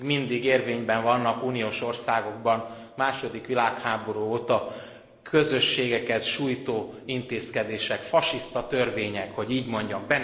Még mindig érvényben vannak uniós országokban a második világháború óta közösségeket sújtó intézkedések, fasiszta törvények, hogy így mondjam.